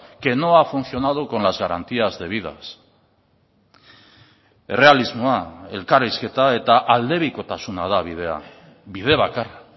que no ha funcionado con las garantías debidas errealismoa elkarrizketa eta aldebikotasuna da bidea bide bakarra